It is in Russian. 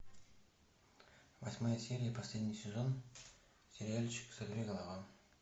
восьмая серия последний сезон сериальчик сорвиголова